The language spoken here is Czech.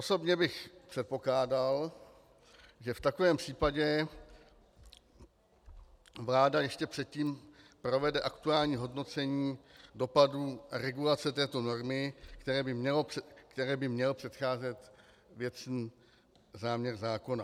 Osobně bych předpokládal, že v takovém případě vláda ještě předtím provede aktuální hodnocení dopadů regulace této normy, které by měl předcházet věcný záměr zákona.